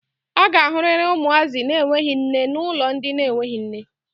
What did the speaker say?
A ga-ahụrịrị ụmụazị na-enweghi nne na ụlọ ndị na-enweghi nne.